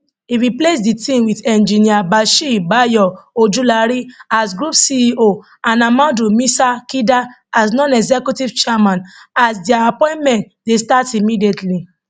e replace di team wit engineer bashir bayo ojulari as group ceo and ahmadu musa kida as nonexecutive chairman as dia appointment dey start immediately